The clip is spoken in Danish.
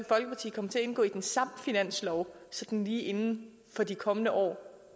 indgå i den samme finanslov sådan lige inden for de kommende år